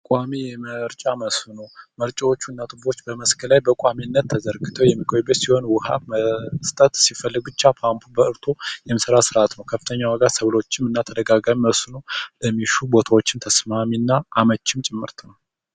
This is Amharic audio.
ቋሚ የመርጫ መስኖ መርጫዎቹ በመስክ ላይ በቋሚነት ተዘግቶ የሚቆይበት ሲሆን፤ ውሃ መስጠት ሲፈልግ ብቻ በፓምፑ በርቶ የሚሠራ ሥራ ተመልክተነዋል ሰብሎችም እና ተደጋጋሚ የሥነ ለሚሹ ቦታዎችን ተስማሚና አመቺ ጭምርት ነው።